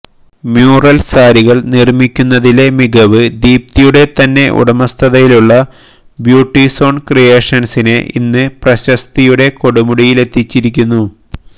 mural സാരികള് നിര്മ്മിക്കുന്നതിലെ മികവ് ദീപ്തിയുടെ തന്നെ ഉടമസ്ഥതയിലുള്ള ബ്യൂട്ടിസോണ് ക്രിയേഷന്സിനെ ഇന്ന് പ്രശസ്തിയുടെ കൊടുമുടിയിലെത്തിച്ചിരിക്കുന്നു